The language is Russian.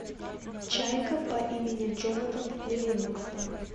чайка по имени джонатан ливингстон